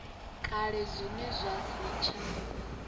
kale zwine zwa si tsha